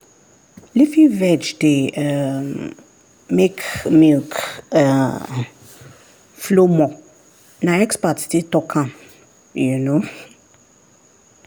leafy veg dey um make milk um flow more na expert still confirm am. um